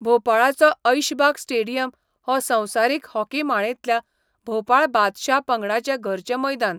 भोपाळाचो Aishbagh stadium हो संवसारीक hockey माळेंतल्या भोपाळ बादशहा पंगडाचें घरचें मैदान